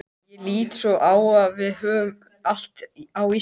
Ég lít svo á að við höfum allt á Íslandi.